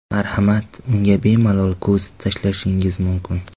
Marhamat, unga bemalol ko‘z tashlashingiz mumkin.